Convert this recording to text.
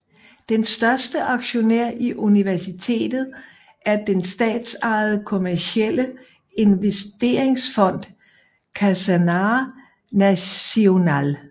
Den største aktionær i universitetet er den statsejede kommercielle investeringsfond Khazanah Nasional